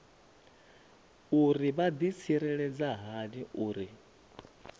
uri vha ḓitsireledza hani uri